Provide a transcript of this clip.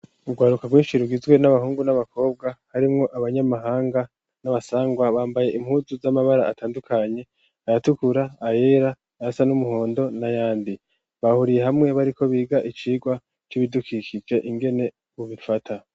Urwaruka rwinshi izwe n'abahungu n'abakobwa harimwo abanyamahanga n'abasangwa bambaye impuzu z'amabara atandukanye ayatukura ayera yasa n'umuhondo na yandi bahuriye hamwe bariko biga icigwa cy'ibidukikike ingene bobifata.